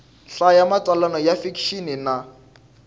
hlaya matsalwa ya fikixini na